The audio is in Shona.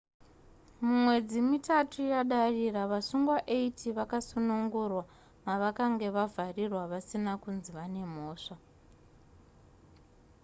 mumwedzi mitatu yadarira vasungwa 80 vakasunungurwa mavakanga vakavharirwa vasina kunzi vane mhosva